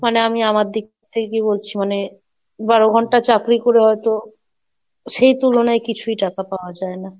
মানে আমি আমার দিক থেকে বলছি মানে বারো ঘন্টা চাকরি করে হয়তো সেই তুলনায় কিছুই টাকা পাওয়া যায় না।